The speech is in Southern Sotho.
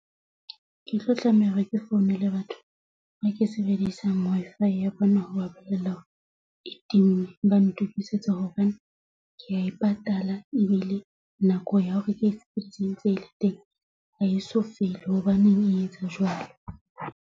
Ke tlo tlameha hore ke founele batho ba ke sebedisang Wi-Fi ya bona ho ba bolella hore e timme ba ntukisetse hobane ke ya e patala ebile nako ya hore teng ha eso fele. Hobaneng e etsa jwalo?